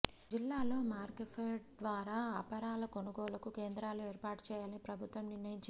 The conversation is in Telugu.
జిల్లాలో మార్కెఫెడ్ ద్వారా అపరాల కొనుగోలుకు కేంద్రాలు ఏర్పాటు చేయాలని ప్రభుత్వం నిర్ణయించింది